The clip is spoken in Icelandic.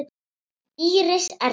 Íris Erna.